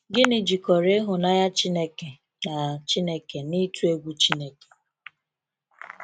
Gịnị jikọrọ ịhụnanya Chineke na Chineke na ịtụ egwu Chineke?